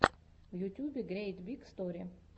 в ютьюбе грейт биг стори